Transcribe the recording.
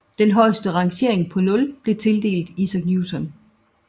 Den højeste rangering på 0 blev tildelt Isaac Newton